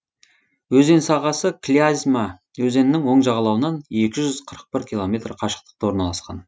өзен сағасы клязьма өзенінің оң жағалауынан екі жүз қырық бір километр қашықтықта орналасқан